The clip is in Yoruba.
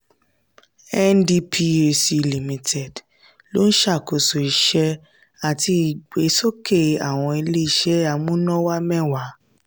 ndphc limited ló ń ṣàkóso iṣẹ́ àti ìgbésókè awọn ilé-iṣẹ́ amúnáwá mẹ́wàá.